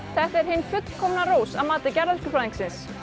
þetta er hin fullkomna rós að mati garðyrkjufræðingsins